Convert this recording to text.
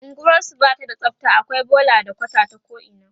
unguwarsu Bata da tsafta akwai bola da kwata ta ko ina